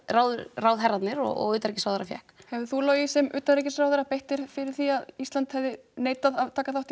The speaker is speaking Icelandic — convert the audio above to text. ráðherrarnir og utanríkisráðherra fékk hefðir þú Logi sem utanríkisráðherra beitt þér fyrir því að Ísland hefði neitað að taka þátt